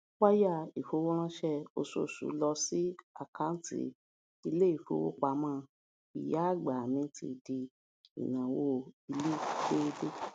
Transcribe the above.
wáyà ìfowóránsé oṣooṣu lọ sí àkounti iléìfowópamó ìyáagbà mi ti di ináwó ilé déédé